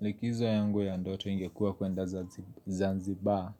Likizo yangu ya ndoto ingekua kuenda Zanzibar